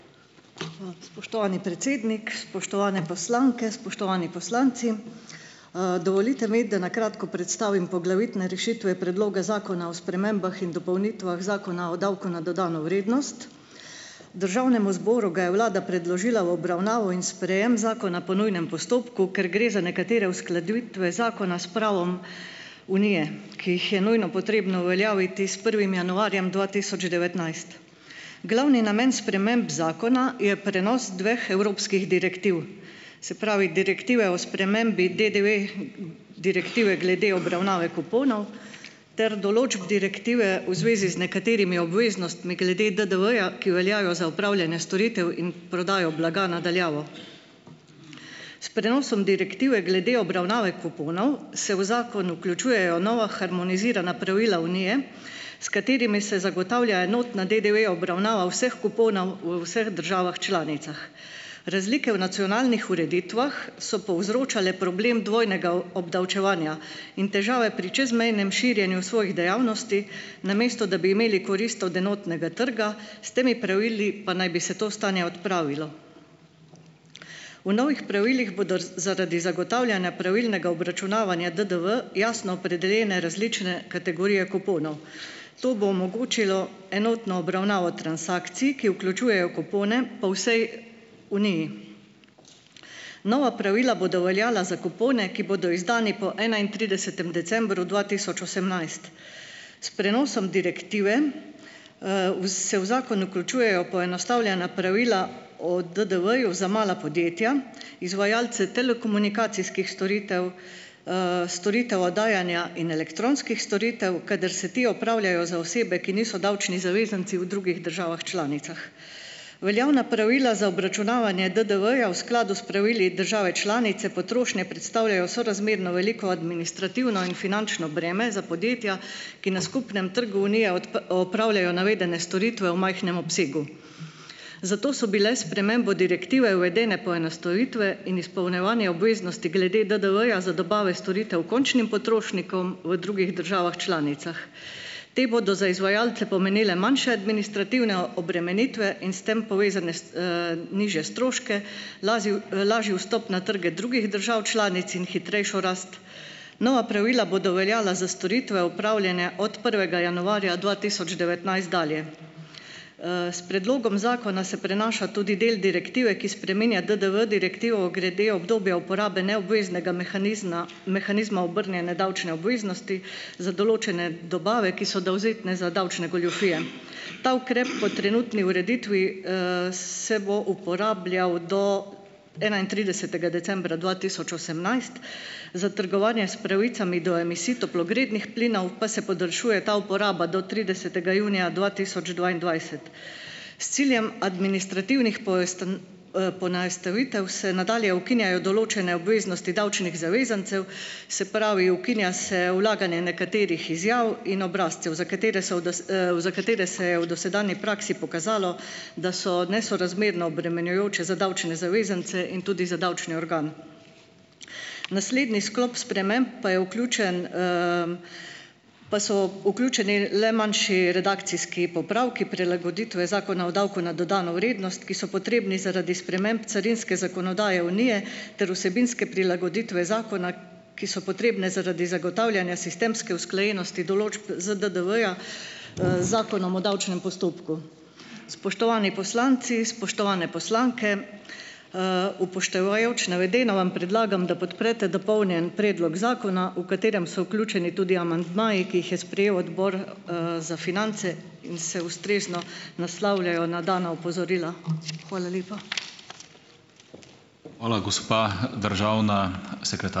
Spoštovani predsednik, spoštovane poslanke, spoštovani poslanci! Dovolite mi, da kratko predstavim poglavitne rešitve Predloga zakona o spremembah in dopolnitvah Zakona o davku na dodano vrednost. Državnemu zboru ga je vlada predložila v obravnavo in sprejem zakona po nujnem postopku, ker gre za nekatere uskladitve zakona s pravom Unije, ki jih je nujno treba uveljaviti s prvim januarjem dva tisoč devetnajst. Glavni namen sprememb zakona je prenos dveh evropskih direktiv, se pravi, Direktive o spremembi DDV, Direktive glede obravnave kuponov ter določb direktive v zvezi z nekaterimi obveznostmi glede DDV-ja, ki veljajo za opravljanje storitev in prodajo blaga na daljavo. S prenosom Direktive glede obravnave kuponov se v zakon vključujejo nova harmonizirana pravila Unije, s katerimi se zagotavlja enotna DDV obravnava vseh kuponov v vseh državah članicah. Razlike v nacionalnih ureditvah so povzročale problem dvojnega obdavčevanja in težave pri čezmejnem širjenju svojih dejavnosti, namesto da bi imeli korist od enotnega trga, s temi pravili pa naj bi se to stanje odpravilo. V novih pravilih bodo z zaradi zagotavljanja pravilnega obračunavanja DDV jasno opredeljene različne kategorije kuponov. To bo omogočilo enotno obravnavo transakcij, ki vključujejo kupone, po vsej Uniji. Nova pravila bodo veljala za kupone, ki bodo izdani po enaintridesetem decembru dva tisoč osemnajst. S prenosom direktive, vz se v zakon vključujejo poenostavljena pravila o DDV-ju za mala podjetja, izvajalce telekomunikacijskih storitev, storitev oddajanja in elektronskih storitev, kadar se ti opravljajo za osebe, ki niso davčni zavezanci, v drugih državah članicah. Veljavna pravila za obračunavanje DDV-ja v skladu s pravili države članice potrošnje predstavljajo sorazmerno veliko administrativno in finančno breme za podjetja, ki na skupnem trgu Unije opravljajo navedene storitve v majhnem obsegu. Zato so bile s spremembo direktive uvedene poenostavitve in izpolnjevanje obveznosti glede DDV-ja za dobave storitev končnim potrošnikom v drugih državah članicah. Te bodo za izvajalce pomenile manjše administrativne obremenitve in s tem povezane s, nižje stroške, lazi lažji vstop na trge drugih držav članic in hitrejšo rast. Nova pravila bodo veljala za storitve, opravljene od prvega januarja dva tisoč devetnajst dalje. S predlogom zakona se prenaša tudi del direktive, ki spreminja DDV direktivo glede obdobja uporabe neobveznega mehanizna, mehanizma obrnjene davčne obveznosti za določene dobave, ki so dovzetne za davčne goljufije. Ta ukrep po trenutni ureditvi, se bo uporabljal do enaintridesetega decembra dva tisoč osemnajst, za trgovanje s pravicami do emisij toplogrednih plinov pa se podaljšuje ta uporaba do tridesetega junija dva tisoč dvaindvajset. S ciljem administrativnih poenostavitev se nadalje ukinjajo določene obveznosti davčnih zavezancev, se pravi ukinja se vlaganje nekaterih izjav in obrazcev, za katere so v za katere se je v dosedanji praksi pokazalo, da so nesorazmerno obremenjujoče za davčne zavezance in tudi za davčni organ. Naslednji sklop sprememb pa je vključen, pa so vključeni le manjši redakcijski popravki, prilagoditve Zakona o davku na dodano vrednost, ki so potrebni zaradi sprememb carinske zakonodaje Unije, ter vsebinske prilagoditve zakona, ki so potrebne zaradi zagotavljanja sistemske usklajenosti določb ZDDV-ja, z Zakonom o davčnem postopku. Spoštovani poslanci, spoštovane poslanke, upoštevajoč navedeno vam predlagam, da podprete dopolnjen predlog zakona, v katerem so vključeni tudi amandmaji, ki jih je sprejel odbor, za finance in se ustrezno naslavljajo na dana opozorila. Hvala lepa.